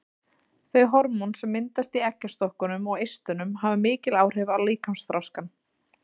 Þau hormón sem myndast í eggjastokkunum og eistunum hafa mikil áhrif á líkamsþroskann.